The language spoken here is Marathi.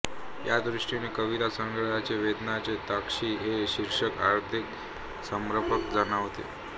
या दृष्टीने कवितासंग्रहाचे वेदनेच्या तळाशी हे शीर्षक अधिक समर्पक जाणवते